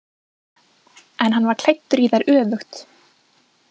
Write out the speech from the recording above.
En hann var klæddur í þær öfugt.